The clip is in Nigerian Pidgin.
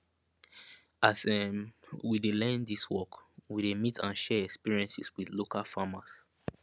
as um we dey learn dis work we dey meet and share experiences with local farmers